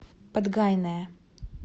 подгайная